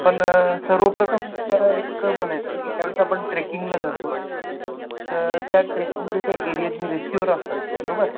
पण सर्वप्रथम एक म्हणायच की ज्यावेळेस आपण ट्रेकिंगला जातो तर त्या ट्रेकिंग च्या त्या एरियातले रेस्क्यूअर असतात बरोबर